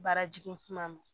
Baara jigin kuma ma